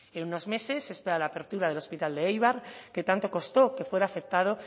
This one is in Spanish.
en unos meses se espera la apertura del hospital de eibar que tanto costó que fuera aceptado